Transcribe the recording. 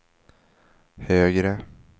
högre